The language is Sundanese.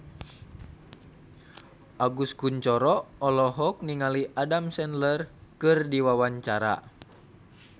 Agus Kuncoro olohok ningali Adam Sandler keur diwawancara